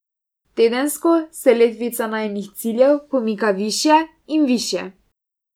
Tedensko se letvica najinih ciljev pomika višje in višje.